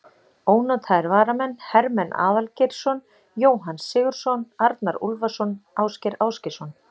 Ónotaðir varamenn: Hermann Aðalgeirsson, Jóhann Sigurðsson, Arnar Úlfarsson, Ásgeir Ásgeirsson.